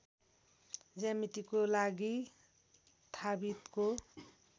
ज्यामितिको लागि थाबितको